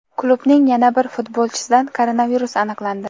Klubning yana bir futbolchisida koronavirus aniqlandi.